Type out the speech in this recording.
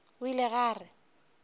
o ile ge a re